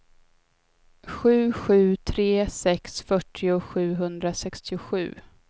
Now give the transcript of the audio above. sju sju tre sex fyrtio sjuhundrasextiosju